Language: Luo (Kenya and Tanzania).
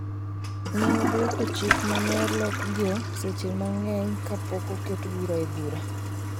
Ne odwoko chik ma ne olokigo seche mang’eny kapok oket bura e bura.